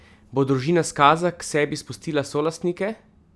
Bo družina Skaza k sebi spustila solastnike?